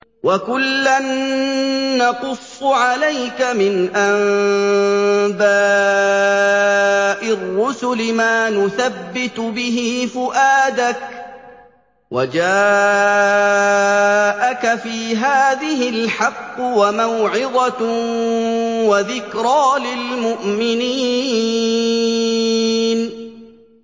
وَكُلًّا نَّقُصُّ عَلَيْكَ مِنْ أَنبَاءِ الرُّسُلِ مَا نُثَبِّتُ بِهِ فُؤَادَكَ ۚ وَجَاءَكَ فِي هَٰذِهِ الْحَقُّ وَمَوْعِظَةٌ وَذِكْرَىٰ لِلْمُؤْمِنِينَ